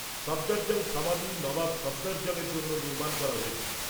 সফদরজং সমাধি নবাব সফদরজংয়ের জন্য নির্মাণ করা হয়েছিল।